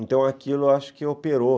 Então, aquilo acho que operou.